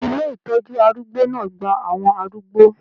ilé ìtọjú arúgbó náà gbà àwọn arúgbó.